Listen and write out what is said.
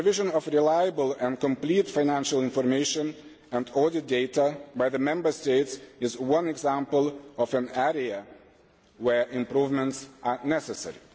The provision of reliable and complete financial information and audit data by the Member States is one example of an area where improvements are necessary.